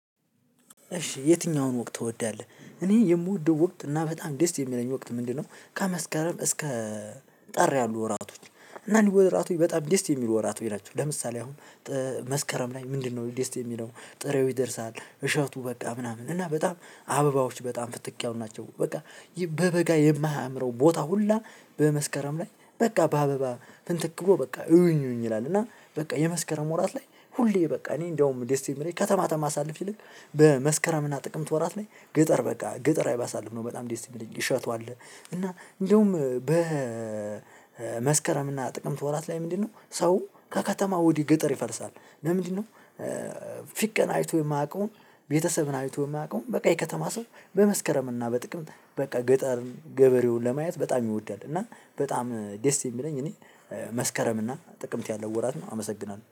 እሺ የትኛውን ወቅት ትወዳለህ እኔ የምወደው ወቅት እና በጣም ደስ የሚለኝ ወቅት ምንድነው? ከመስከረም እስከ ጥር ያሉ ወራቶች እና እነኚህ ወራቶች በጣም ደስ የሚሉ ወራቶች ናቸው። ለምሳሌ አሁን መስከረም ላይ ምንድነው ደስ የሚለው ጥሬው ይደርሳል እሸቱ በቃ ምናምን እና በጣም አበባዎች በጣም ፍትክ ያሉ ናቸው። በቃ በበጋ የማያምረው ቦታ ሁላ በመስከረም ላይ በቃ በአበባ ፍንትክ ብሎ በቃ እዩኝ እዩኝ ይላል እና በቃ የመስከረም ወራት ላይ ሁሌ በቃ እኔ እንደውም ደስ የሚለኝ ከተማ ተማሳልፍ ይልቅ በመስከረም ጥቅምት ወራት ላይ ገጠር በቃ ገጠር ላይ ባሳልፍ ነው በጣም ደስ ሚለኝ። እሸቱ አለ እና እንደውም በ በመስከረም እና ጥቅምት ወራት ላይ ምንድነው ሰው ከከተማ ወደህ ገጠር ይፈልሳል ለምንድነው? ፍቅር አይቶ የማያውቀውን ቤተሰብን አይቶ የማያውቀውን በቃ የከተማ ሰው በመስከረም እና በጥቅምት በቃ ገጠር ገበሬውን ለማየት በጣም ይወዳል። እና በጣም ደስ የሚለኝ እኔ መስከረም እና ጥቅምት ያለው ወራት ነው። አመሰግናለሁ።